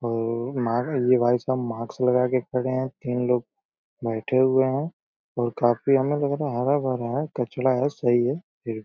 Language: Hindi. और मॉक ये भाईसाहब माक्स लगाके खड़े है। तीन लोग बैठे हुए हैं और काफी हमे लग रहा है हरा भरा है कचड़ा है सही है। फिर --